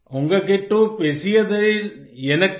उन्गकिट्ट पेसीयदिल येनक्क